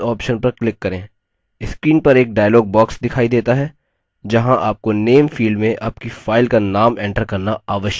screen पर एक dialog box दिखाई देता है जहाँ आपको name field में आपकी file का name enter करना आवश्यक है